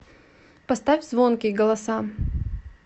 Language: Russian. поставь звонкий голоса